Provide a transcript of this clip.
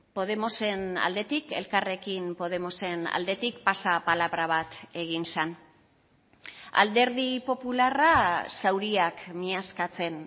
podemosen aldetik elkarrekin podemosen aldetik pasapalabra bat egin zen alderdi popularra zauriak miazkatzen